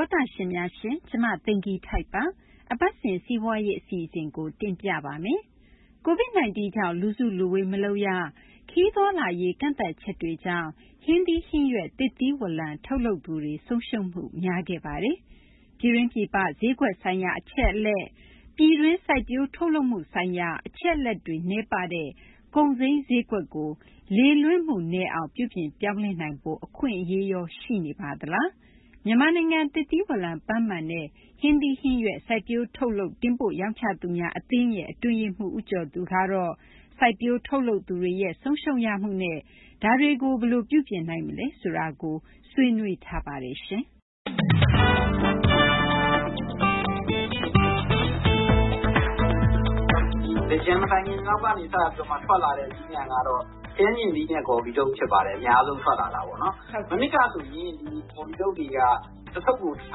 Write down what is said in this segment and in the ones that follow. ောတရှင်များရှင် ကျမ သိင်္ဂ ီထိုက်ပါ။ အပတ်စဉ် စီးပွားရေး အစီအစဉ်ကို တင်ပြပါမယ်။ COVID 19 ကြောင့် လူစုလူဝေး မလုပ်ရ၊ ခရီးသွားလာရေးကန့်သတ်ချက်တွေကြောင့် ဟင်းသီး ဟင်းရွက် သစ်သီးဝလံ ထုတ်လုပ်သူတွေ ဆုံးရှုံးမှု များခဲ့ပါတယ်။ ပြည်တွင်း ပြည်ပ ဈေးကွက်ဆိုင်ရာ အချက်အလက်၊ ပြည်တွင်း စိုက်ပျိုးထုတ်လုပ်မှုဆိုင်ရာ အချက်အလက်တွေ နည်းပါးတဲ့ ကုန်စိမ်း ဈေးကွက်ကို လေလွင့်မှုနည်းအောင် ပြုပြင်ပြောင်းလဲနိုင်ဖို့ အခွင့်အရေးရော ရှိနေပါသလား။ မြန်မာနိုင်ငံ သစ်သီးဝလံ၊ ပန်းမာန်နဲ့ ဟင်းသီးဟင်းရွက် စိုက်ပျိုးထုတ်လုပ် တင်ပို့ရောင်းချသူများ အသင်းရဲ့ အတွင်းရေးမှူး ဦးကျော်သူကတော့ စိုက်ပျိုးထုတ်လုပ်သူတွေရဲ့ ဆုံးရှုံးရမှုနဲ့ ဒါတွေကို ဘယ်လို ပြုပြင်နိုင်မလဲ ဆိုတာကို ဆွေးနွေးထားပါတယ်။ သင်္ကြန် မတိုင်ခင်လောက်က စပြီး ထွက်လာတဲ့ သီးနှံကတော့ ခရမ်းချဉ်သီးနဲ့ ဂေါ်ဖီထုပ် ဖြစ်ပါတယ်။ အများဆုံး ထွက်လာတာ။ မနှစ်ကဆိုရင် ဒီ ဂေါ်ဖီထုပ်တွေက တထုပ်ကို ကျ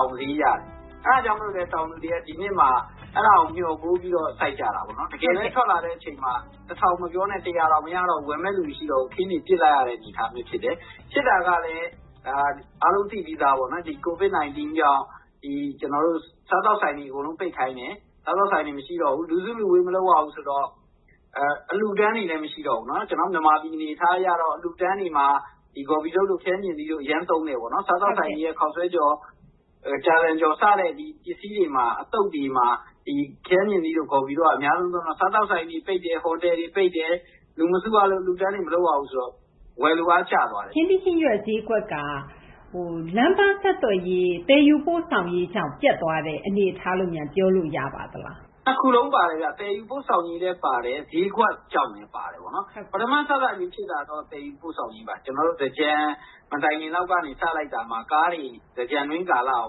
ပ် ဈေးရတယ်။ အဲဒါကြောင့် တောင်သူတွေက ဒီနှစ်မှာ အဲဒါကို မျှော်ကိုးပြီး စိုက်ကြတာ ပေါ့နော် တကယ်လည်း ထွက်လာတဲ့ အချိန်မှာ မပြောနဲ့ တောင် မရတော့တဲ့ အနေအထားပေါ့။ အခင်းတွေ ပစ်လိုက်ရတဲ့ အနေအထားမျိုး ဖြစ်တယ်။ ဖြစ်တာကလည်း အားလုံး သိပြီးသားဘဲပေါ့နော် COVID 19 ကြောင့် ဒီ ကျနော်တို့ စားသောက်ဆိုင်တွေ အကုန်လုံး ပိတ်ခိုင်းတယ်။ စားသောက်ဆိုင်တွေ မရှိတော့ဘူး။ လူစုလူဝေး မလုပ်ရဘူး ဆိုတော့ အလှူအတန်းတွေလည်း မရှိတော့ဘူးပေါ့နော်။ ကျနော်တို့ မြန်မာပြည် အနေအထား အရတော့ အလှူအတန်းတွေမှာ ဒီ ဂေါ်ဖီထုပ်တို့ ခရမ်းချဉ်သီးတို့ အရမ်းသုံးတယ်ပေါ့နော်။ စားသောက်ဆိုင်တွေရဲ့ ခေါက်ဆွဲကြော် ကြာဇံကြော် စတဲ့ ဒီ ပစ္စည်းတွေမှာ အသုပ်တွေမှာ ဒီ ခရမ်းချဉ်သီးတို့ ဂေါ်ဖီတို့က အများဆုံး သုံးတော့ စားသောက်ဆိုင်တွေ ပိတ်တယ်၊ ဟိုတယ်တွေ ပိတ်တယ် အလှူအတန်းတွေ မလုပ်ရဘူးဆိုတော့ ဝယ်လိုအား ကျသွားတယ်။ ဟင်းသီး ဟင်းရွက် ဈေးကွက်က လမ်းပန်း ဆက်သွယ်ရေး၊ သယ်ယူပို့ဆောင်ရေးကြောင့် ပျက်သွားတဲ့ အနေအထားလို့များ ပြောလို့ ရပါသလား။ ၂ ခုလုံး ပါတယ်ဗျ။ သယ်ယူပို့ဆောင်ရေးလည်း ပါတယ်။ ဈေးကွက်ကြောင့်လည်း ပါတယ်။ ပထမ စစချင်း ဖြစ်တာကတော့ သယ်ယူပို့ဆောင်ရေးပါ။ ကျနော်တို့ သင်္ကြန် မတိုင်ခင်လောက် စလိုက်တာမှာ သင်္ကြန်တွင်း ကာလ ကား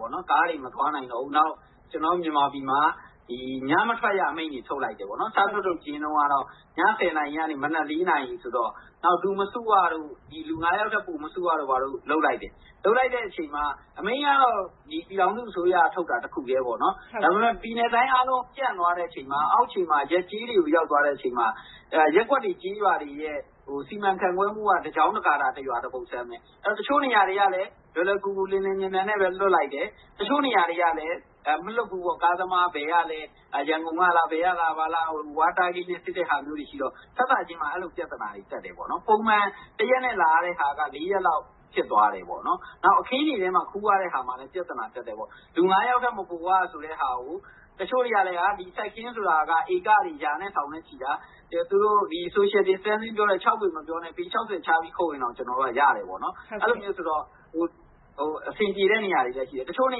တွေ မသွားနိုင်တော့ဘူး။ နောက် ကျနော်တို့ မြန်မာပြည်မှာ ညမထွက်ရ အမိန့်တွေ ထုတ်လိုက်တယ်ပေါ့နော်။ စ ထုတ်ထုတ်ခြင်း တုန်းကတော့ ည ၁၀ နာရီကနေ မနက် ၄ နာရီ ဆိုတော့၊ နောက် လူမစုရတို့ လူ ၅ ယောက်ထက် ပိုမစုရတို့ ဘာတို့ လုပ်လိုက်တယ်။ လုပ်လိုက်တဲ့ အချိန်မှာ အမိန့်ကတော့ ပြည်ထောင်စု အစိုးရက ထုတ်တာ တခုတည်းပေါ့နော်။ ဒါပေမယ့် ပြည်နယ်နဲ့ တိုင်း အားလုံး ပြန့်သွားတဲ့ အချိန်မှာ အောက်ခြေမှာ ရပ်ကျေး တွေကို ရောက်သွားတဲ့ အချိန်မှာ ရပ်ကွက်တွေ၊ ကျေးရွာတွေရဲ့ စီမံခန့်ခွဲမှုက တကျောင်းတဂါထာ တရွာ တပုဒ်ဆန်းဘဲ။ တချို့ နေရာတွေကလည်း လွယ်လွယ်ကူကူ လျင်လျင် မြန်မြန်နဲ့ဘဲ လွှတ်လိုက်တယ်။ တချို့ နေရာတွေကလည်း မလွှတ်ဘူးပေါ့။ ကားသမား ဘယ်ကလဲ။ ရန်ကုန်ကလား ဘယ်ကလား ဘာလား စစ်တဲ့ဟာတွေ ရှိတော့ စစချင်းမှာ အဲလို ပြသနာတွေ တက်တယ်ပေါ့နော်။ ပုံမှန် တရက်နဲ့ လာရတဲ့ဟာက ၄ ရက်လောက် ဖြစ်သွားတယ် ပေါ့နော်။ နောက် အခင်းတွေထဲမှာ ခူးရတဲ့ ဟာမှာလည်း ပြသနာ တက်တယ်ပေါ့။ လူ ၅ ယောက်ထက် မပိုရ ဆိုတဲ့ဟာကို တချို့တွေက ဒီ စိုက်ခင်းဆိုတာက ဧကတွေ ရာနဲ့ ထောင်နဲ့ချီတာ လူတဦးနဲ့ တဦးခြား အကွာအဝေး ခြားဖို့ ၆ ပေ မပြောနဲ့ ပေ ၆၀ ခြားပြီး ခုတ်ရင်တောင် ရတယ်ပေါ့နော်။ အဲဒီတော့ အဆင်ပြေတဲ့ နေရာတွေလည်း ရှိတယ်။ တချို့ နေ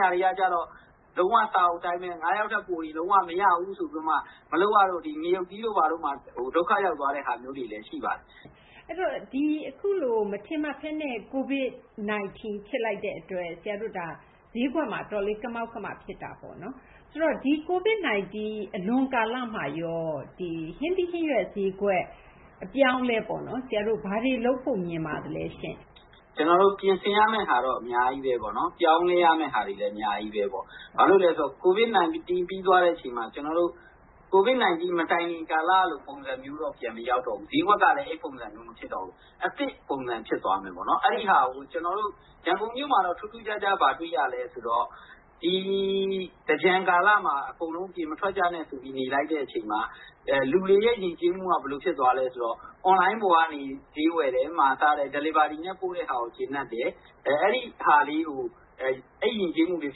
ရာတွေက ကျတော့ လုံး၀ စာအုပ် အတိုင်းဘဲ ၅ ယောက်ထက် ပိုရင် လုံး၀ မရဘူးဆိုပြီးတော့မှ ငရုတ်သီးတို့ ဘာတို့မှာ ဒုက္ခရောက်သွားတဲ့ ဟာမျိုးတွေလည်း ရှိပါတယ်။ အခုလို မထင်မှတ်ဘဲနဲ့ COVID 19 ဖြစ်လိုက်တဲ့ အတွက် ဈေးကွက်မှာ အတော်လေး ကမောက်ကမ ဖြစ်တာပေါ့နော်။ ဆိုတော့ ဒီ COVID 19 အလွန် ကာလမှာရော ဒီ ဟင်းသီး ဟင်းရွက် ဈေးကွက် အပြောင်းအလဲပေါ့နော်။ ဆရာတို့ ဘာတွေ လုပ်ဖို့ မြင်ပါသလဲရှင့်။ ကျနော်တို့ ပြင်ဆင်ရမယ့်ဟာတော့ အများကြီးဘဲပေါ့နော်။ ပြောင်းလဲရမယ့်ဟာတွေလည်း အများကြီးဘဲပေါ့။ ဘာလို့လဲ ဆိုတော့ COVID 19 ပြီးသွားရင်လည်း COVID 19 မတိုင်ခင် ကာလက ပုံစံမျိုးတော့ ပြန်မရောက်တော့ဘူး။ ဈေးကွက်ကလည်း အဲဒီ ပုံစံမျိုး မဖြစ်တော့ဘူး။ အသစ် ပုံစံ ဖြစ်သွားမယ်ပေါ့။ ရန်ကုန်မြို့မှာတော့ ထူးထူးခြားခြား ဘာတွေ့ရလဲ ဆိုတော့ သင်္ကြန်ကာလမှာ အကုန်လုံး အပြင်မထွက်ကြနဲ့ ဆိုပြီး နေလိုက်တဲ့ အချိန်မှာ လူတွေရဲ့ ယဉ်ကျေးမှုက ဘယ်လို ဖြစ်သွားလဲ ဆိုတော့ အွန်လိုင်းပေါ်ကနေ ဈေးဝယ်တယ်၊ စားတယ်၊ ဥပမာ Delivery နဲ့ ပို့တဲ့ဟာကို ကျေနပ်တယ်။ အဲဒီ ယဉ်ကျေးမှုလေး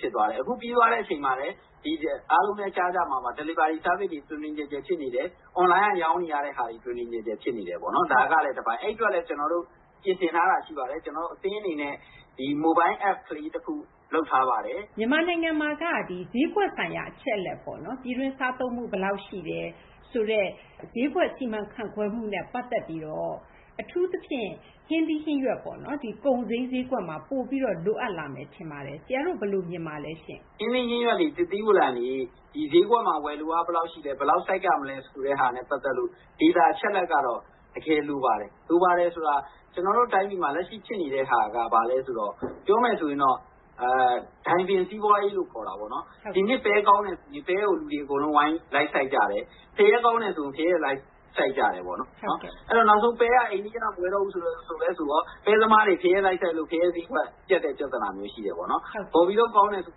ဖြစ်သွားတယ်။ အခု ပြီးတဲ့အချိန်မှာလည်း အားလုံးလည်း ကြားကြမှာပါ။ Delivery Service တွေ တွင်တွင်ကျယ်ကျယ် ဖြစ်လာတယ်။ အွန်လိုင်းက ရောင်းနေတဲ့ဟာတွေ တွင်တွင်ကျယ်ကျယ် ဖြစ်နေတယ်ပေါ့နော်။ ဒါ ကလည်း တပိုင်း။ အဲဒီ အတွက်လည်း ကျနော်တို့ ပြင်ဆင်ထားတာ ရှိပါတယ်။ အသင်း အနေနဲ့ မိုလ်ဘိုင်း APP လေး တခု လုပ်ထားတာ ရှိပါတယ်။ မြန်မာနိုင်ငံမှာက ဈေးကွက် ဆိုင်ရာ အချက်အလက်ပေါ့နော်။ ပြည်တွင်း စားသုံးမှု ဘယ်လောက် ရှိတယ် ဆိုတဲ့ ဈေးကွက် စီမံခန့်ခွဲမှုနဲ့ ပတ်သက်ပြီးတော့ အထူးသဖြင့် ဟင်းသီး ဟင်းရွက် ကုန်စိမ်း ဈေးကွက်မှာ အထူး လိုအပ်လာမယ် ထင်ပါတယ်။ ဆရာတို့ ဘယ်လို မြင်ပါလဲရှင့်။ ဟင်းသီး ဟင်းရွက်တွေ သစ်သီး ဝလံတွေ ဈေးကွက်မှာ ဝယ်လိုအား ဘယ်လောက် ရှိလဲ ဘယ်လောက် စိုက်ရမလဲ ဆိုတာနဲ့ ပတ်သက်လို့ ဒေတာ အချက်အလက် ကတော့ တကယ်လိုပါတယ်။ လိုပါတယ်ဆိုတာ ကျနော်တို့ တိုင်းပြည်မှာ လက်ရှိ ဖြစ်နေတဲ့ဟာက ဘာလဲ ဆိုတော့ ပြောမယ်ဆိုရင်တော့ ဒိုင်ဗင်စီးပွားရေးလို့ ခေါ်တာပေါ့နော်။ ဒီနှစ် ပဲ ကောင်းတယ်ဆိုရင် ပဲကို လူတွေ အကုန် လိုက်စိုက်ကြတယ်။ ဖရဲ ကောင်းတယ်ဆို ဖရဲကို လိုက်စိုက်ကြတယ် ပေါ့နော်။ နောက်ဆုံး ပဲက အိမ်နီးချင်းက မဝယ်တော့ဘူးလည်း ဆိုရော ပဲ သမားတွေ ဖရဲ လိုက်စိုက်လို့ ဖရဲ ဈေးကွက် ပျက်တဲ့ ပြသနာ ရှိတယ်ပေါ့နော်။ ဂေါ်ဖီထုပ် ကောင်းတယ်ဆို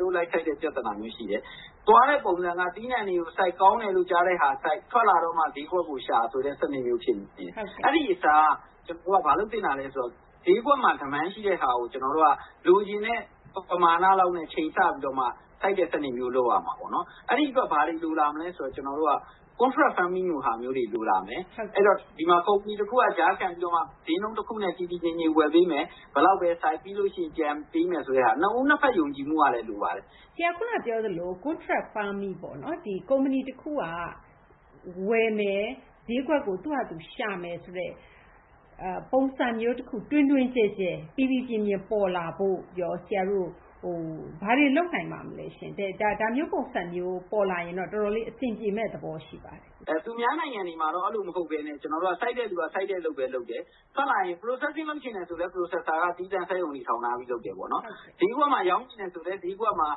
ဂေါ်ဖီထုပ် လိုက်စိုက်တဲ့ ပြသနာမျိုး ရှိတယ်။ သွားတဲ့ ပုံစံက သီးနှံတွေကို စိုက်။ ကောင်းတယ်လို့ ကြားတဲ့ဟာကို စိုက်၊ ထွက်လာတော့မှ ဈေးကွက်ကိုရှာ ဆိုတဲ့ စနစ်မျိုး ဖြစ်နေတယ်။ အဲဒီ အစား ဘာလုပ်သင့်တာလဲ ဆိုတော့ ဈေးကွက်မှာ ဝယ်လိုအား ရှိတဲ့ဟာကို လိုချင်တဲ့ ပမာဏလောက်နဲ့ ချိန်ဆပြီးတော့မှ စိုက်တဲ့ စနစ်မျိုး လုပ်ရမှာ ပေါ့နော်။ အဲဒီ အတွက် ဘာတွေ လိုလာ မလဲ ဆိုတော့ Contract Farming လိုဟာတွေ လိုလာမယ်။ ဒီမှာ ကုမ္ပဏီ တခုက ကြားခံပြီးတော့မှ ဈေးနှုန်း တခုနဲ့ တည်တည်ငြိမ်ငြိမ် ဝယ်ပေးမယ်။ ဘယ်လောက်ဘဲ စိုက် ပြီးလို့ ရှိရင် ပြန်ပေးမယ်ဆိုတဲ့ဟာ။ နှစ်ဦး နှစ်ဘက် ယုံကြည်မှုကလည်း လိုပါတယ်။ ဆရာ ခုန ပြောသလို Contract Farming ပေါ့နော်။ ကုမ္ပဏီ တခုက ဝယ်မယ်၊ ဈေးကွက်ကို သူ့ဟာသူ ရှာမယ်ဆိုတဲ့ ပုံစံမျိုး တခု တွင်တွင်ကျယ်ကျယ် ပေါ်လာဖို့ရော ဆရာတို့ ဘာတွေ လုပ်နိုင်ပါမလဲရှင့်။ ဒါမျိုး ပုံစံမျိုး ပေါ်လာရင်တော့ ဆရာတို့ အတော် အဆင်ပြေမယ့် သဘော ရှိပါတယ်။ သူများနိုင်ငံတွေကတော့ အဲလို မဟုတ်ဘဲနဲ့ စိုက်တဲ့သူက စိုက်တဲ့ အလုပ်ဘဲ လုပ်တယ်။ ထွက်လာရင် Processing လုပ်ချင်တယ် ဆိုလည်း Processer က သီးသန့် စက်ရုံတွေ ထောင်ထားပြီး လုပ်တယ်။ ဈေးကွက်မှာ ရောင်းချင်တယ်ဆိုလည်း ပွဲစား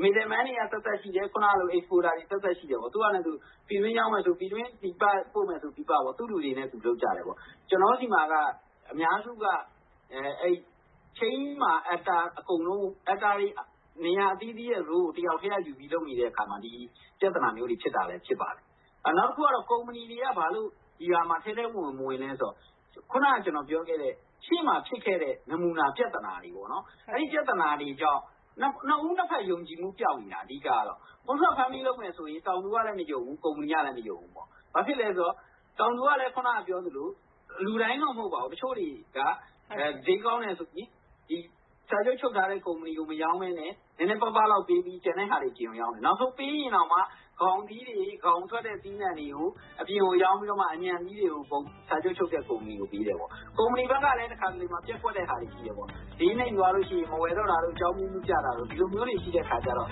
တွေက သပ်သပ်ရှိတယ်။ Exporter တွေ သပ်သပ် ရှိတယ်ပေါ့။ သူ့ဟာနဲ့သူ။ ပြည်တွင်းရောင်းမယ်ဆို ပြည်တွင်း၊ ပြည်ပ ပို့မယ်ဆို ပြည်ပ ၊ သူ့လူတွေနဲ့ သူ လုပ်ကြတယ်ပေါ့။ ကျနေ်ာတို့ ဆီမှာက လုပ်ငန်းစဉ်ကြီး တခုလုံးမှာ နေရာအသီးသီးမှာ တယောက်တည်းက ယူပြီး လုပ်နေတဲ့ အခါမှာ ဒီ ပြသနာတွေ ဖြစ်တာလည်း ဖြစ်ပါတယ်။ နောက်တခုက ကုမ္ပဏီတွေက ဒီဟာမှာ ဘာကြောင့် ထဲထဲဝင်ဝင် မဝင်လည်းဆိုတော့ ခုနက ကျနော် ပြောခဲ့တဲ့ ရှေ့မှာ ဖြစ်ခဲ့တဲ့ နမူနာ ပြသနာတွေပေါ့နော် အဲဒီ ပြသနာတွေကြောင့် နှစ်ဦး နှစ်ဖက် ယုံကြည်မှု ပျောက်နေတာ အဓိက ကတော့။ Contract Farming လုပ်မယ်ဆိုရင် တောင်သူကလည်း မယုံဘူး။ ကုမ္ပဏီကလည်း မယုံဘူးပေါ့။ ဘာဖြစ်လဲ ဆိုတော့ တောင်သူကလည်း ခုန ပြောသလို လူတိုင်းတော့ မဟုတ်ပါဘူး။ တချို့တွေက ဈေးကောင်းတယ်ဆိုရင် စာချုပ် ချုပ်ထားတဲ့ ကုမ္ပဏီကို မရောင်းဘဲနဲ့ နည်းနည်းပါးပါးလောက် ပေးပြီး ကျန်တဲ့ဟာတွေ အပြင်ကို ရောင်းတယ်။ နောက်ဆုံး ပေးရင်တောင်မှ ခေါင်သီးတွေ ခေါင်ထွက်တဲ့ သီးနှံတွေကို အပြင်ကို ရောင်းပြီးတော့မှ အညံ့သီးတွေကို စာချုပ်ချုပ်တဲ့ ကုမ္ပဏီကို ပေးတယ်ပေါ့။ ကုမ္ပဏီ ဘက်ကလည်း တခါတလေ ပျက်ကွက်တဲ့ဟာတွေ ရှိတယ်ပေါ့။ ဈေးနိမ့်သွားလို့ ရှိရင် မဝယ်တော့တာတို့ အကြောင်းအမျိုးမျိုး ပြတာတို့ ဒီလိုမျိုးတွေ ရှိတဲ့အခကျတော့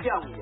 ပျောက်နေတယ